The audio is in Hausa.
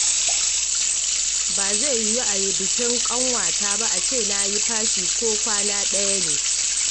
Ba zai yiwu a yi bikin ƙanwata ba a ce na yi fashin ko kwana ɗaya ne